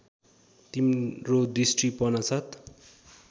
तिम्रो दृष्टि पर्नासाथ